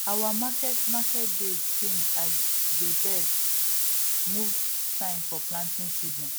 our market market days change as dey bird movement sign for planting season